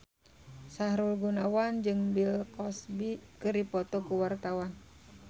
Sahrul Gunawan jeung Bill Cosby keur dipoto ku wartawan